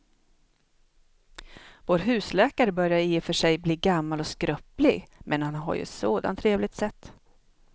Vår husläkare börjar i och för sig bli gammal och skröplig, men han har ju ett sådant trevligt sätt!